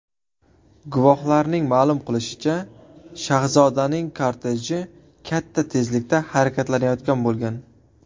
Guvohlarning ma’lum qilishicha, shahzodaning korteji katta tezlikda harakatlanayotgan bo‘lgan.